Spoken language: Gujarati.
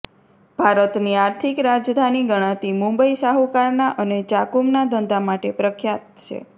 ભારતની આર્થિક રાજધાની ગણાતી મુંબઈ શાહુકારના અને જાકુમના ધંધા માટે પ્રખ્યાત છે